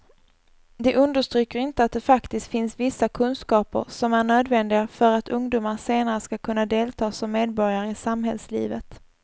De understryker inte att det faktiskt finns vissa kunskaper som är nödvändiga för att ungdomar senare ska kunna delta som medborgare i samhällslivet.